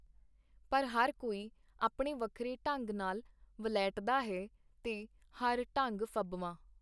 ਪਰ ਹਰ ਕੋਈ ਆਪਣੇ ਵੱਖਰੇ ਢੰਗ ਨਾਲ ਵਲ੍ਹੇਟਦਾ ਹੈ, ਤੇ ਹਰ ਢੰਗ ਫੱਬਵਾਂ.